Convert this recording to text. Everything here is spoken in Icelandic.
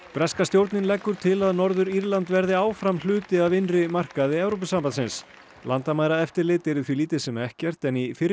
breska stjórnin leggur til að Norður Írland verði áfram hluti af innri markaði Evrópusambandsins landamæraeftirlit yrði því lítið sem ekkert en í fyrri